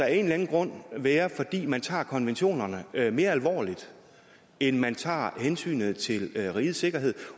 anden grund være fordi man tager konventionerne mere alvorligt end man tager hensynet til rigets sikkerhed